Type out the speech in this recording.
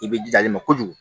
I bɛ ji ma kojugu